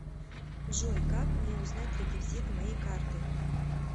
джой как мне узнать реквизиты моей карты